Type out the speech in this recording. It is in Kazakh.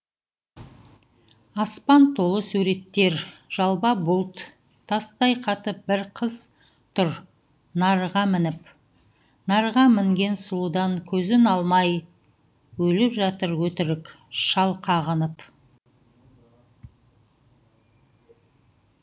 аспан толы суреттер жалба бұлт тастай қатып бір қыз тұр нарға мініп нарға мінген сұлудан көзін алмай өліп жатыр өтірік шал қағынып